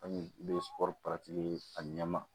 An ye ye a ɲɛma